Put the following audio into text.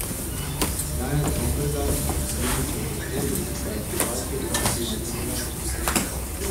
Janez Lombergar, Galuničev predhodnik, pa je situacijo pojasnil malce drugače.